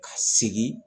Ka segin